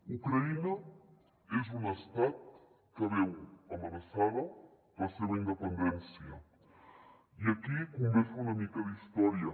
ucraïna és un estat que veu amenaçada la seva independència i aquí convé fer una mica d’història